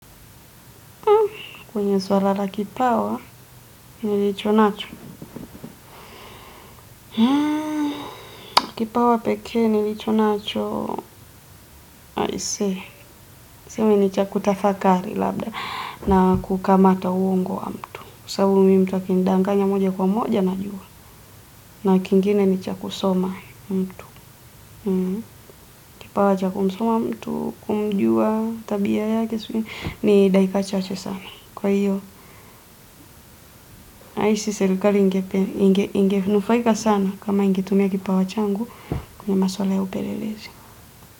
Kwenye swala la kipawa, nilicho nacho. Kipawa peke, nilicho nacho. I say. I say, ni cha kutafakari labda. Na kukamata uongo wa mtu. Sasa mimi mtu akinidangaya moja kwa moja mimi huwa najua na kingine ni cha kusoma mtu. Kipawa cha kusoma mtu, kumjua, tabia yake. Ni dakika chaache sana. Kwa hiyo, nahisi serikali ingenufaika sana kama ingitumia kipawa changu. Ya maswala ya upelelezi.